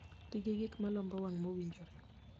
Ti gi gik malombo wang' mowinjore.